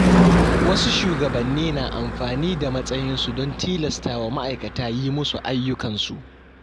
Wasu shugabanni na amfani da matsayinsu don tilastawa ma’aikata yi musu ayyukansu.